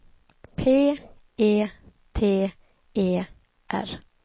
P E T E R